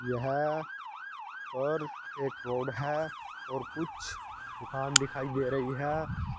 यह पर एक रोड है और कुछ दुकान दिखाई दे रही है।